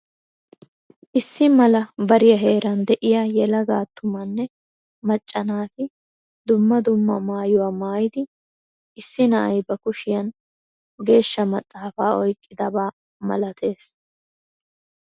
Issi mala bariya heeran de'iyaa yelaga attumanne macca naati dumma dumma maayuwa maayidi issi na'ay ba kushshiyan geeshshaa maxaafaa oyqqidaba malateees.